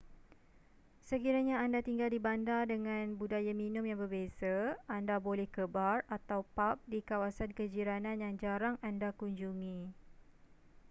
sekiranya anda tinggal di bandar dengan budaya minum yang berbeza anda boleh ke bar atau pub di kawasan kejiranan yang jarang anda kunjungi